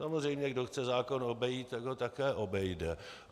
Samozřejmě kdo chce zákon obejít, tak ho také obejde.